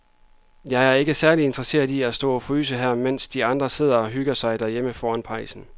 Jeg er ikke særlig interesseret i at stå og fryse her, mens de andre sidder og hygger sig derhjemme foran pejsen.